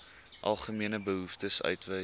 algemene behoeftes uitwys